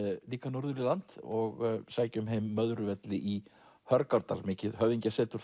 líka norður í land og sækjum heim Möðruvelli í Hörgárdal mikið höfðingjasetur